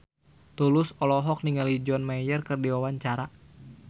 Tulus olohok ningali John Mayer keur diwawancara